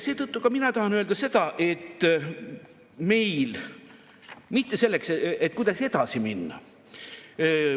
Seetõttu tahan ka mina öelda seda, et me, kuidas edasi minna.